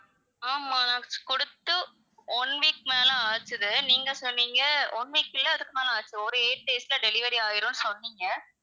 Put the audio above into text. ஆமா நான் குடுத்து one week மேல ஆச்சுது, நீங்க சொன்னீங்க one week இல்லை அதுக்கு மேல ஆச்சு ஒரு eight days ல delivery ஆயிடும்னு சொன்னீங்க,